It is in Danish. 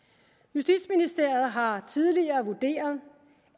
justitsministeriet har tidligere vurderet